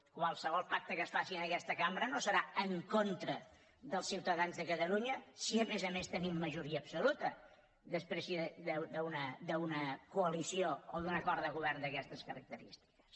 qualsevol pacte que es faci en aquesta cambra no serà en contra dels ciutadans de catalunya si a més a més tenim majoria absoluta després d’una coalició o d’un acord de govern d’aquestes característiques